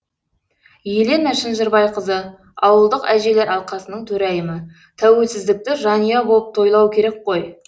елена шынжырбайқызы ауылдық әжелер алқасының төрайымы тәуелсіздікті жанұя болып тойлау керек қой